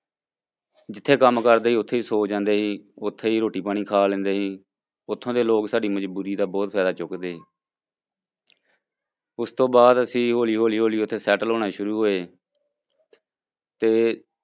ਜਿਥੇ ਕੰਮ ਕਰਦੇ ਸੀ ਉੱਥੇ ਹੀ ਸੌਂ ਜਾਂਦੇ ਸੀ, ਉੱਥੇ ਹੀ ਰੋਟੀ ਪਾਣੀ ਖਾ ਲੈਂਦੇ ਸੀ, ਉੱਥੋਂ ਦੇ ਲੋਕ ਸਾਡੀ ਮਜ਼ਬੂਰੀ ਦਾ ਬਹੁਤ ਫ਼ਾਇਦਾ ਚੁੱਕਦੇ ਉਸ ਤੋਂ ਬਾਅਦ ਅਸੀਂ ਹੌਲੀ ਹੌਲੀ ਹੌਲੀ ਉੱਥੇ settle ਹੋਣਾ ਸ਼ੁਰੂ ਹੋਏ ਤੇ